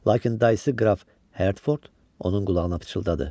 Lakin dayısı qraf Hertford onun qulağına pıçıldadı.